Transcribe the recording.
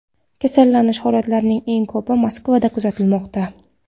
Kasallanish holatlarining eng ko‘pi Moskvada kuzatilmoqda.